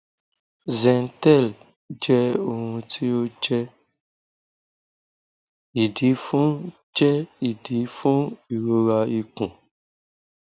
zentel jẹ ohun ti o jẹ idi fun jẹ idi fun irora ikun